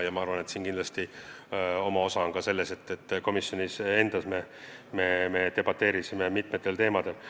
Ma arvan, et kindlasti on oma osa sellel, et komisjonis me debateerisime mitmetel teemadel.